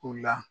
U la